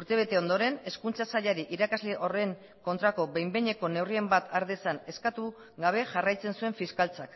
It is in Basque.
urtebete ondoren hezkuntza sailari irakasle horren kontrako behin behineko neurriren bat har dezan eskatu gabe jarraitzen zuen fiskaltzak